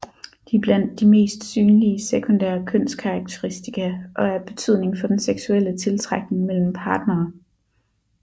De er blandt de mest synlige sekundære kønskarakteristika og er af betydning for den seksuelle tiltrækning mellem partnere